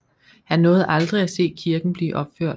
Han nåede aldrig at se kirken blive opført